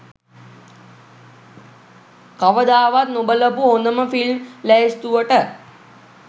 කවදාවත් නොබලපු හොඳම ෆිල්ම් ලැයිස්තුවට.